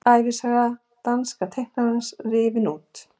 Ævisaga dansks teiknara rifin út